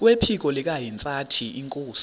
kwephiko likahintsathi inkosi